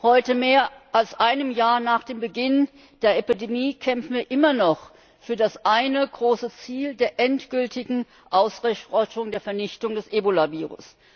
Heute, mehr als ein Jahr nach dem Beginn der Epidemie, kämpfen wir immer noch für das eine große Ziel der endgültigen Ausrottung, der Vernichtung des Ebola Virus.